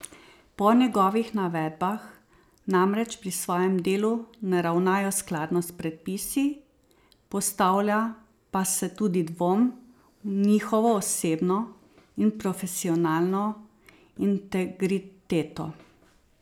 Po njegovih navedbah namreč pri svojem delu ne ravnajo skladno s predpisi, postavlja pa se tudi dvom v njihovo osebno in profesionalno integriteto.